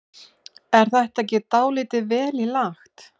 Er þetta ekki dálítið vel í lagt?